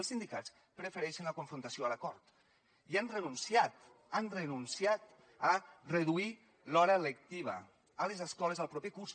els sindicats prefereixen la confrontació a l’acord i han renunciat han renunciat a reduir l’hora lectiva a les escoles el proper curs